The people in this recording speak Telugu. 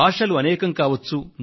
భాషలు అనేకం కావచ్చు